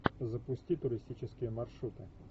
запусти туристические маршруты